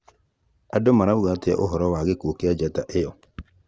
Andũ marauga atĩa ũhoro wa gĩkuũ kĩa njata ĩyo?